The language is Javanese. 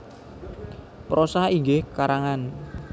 Prosa inggih karangan